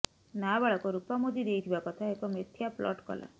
ନାବାଳକ ରୁପା ମୁଦି ଦେଇଥିବା କଥା ଏକ ମିଥ୍ୟା ପ୍ଲଟ୍ କଲା